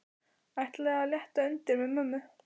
Ætli að létta undir með mömmu.